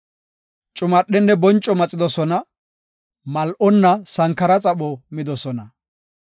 Cumadhenne bonco maxidosona; mal7onna sankara xapho midosona.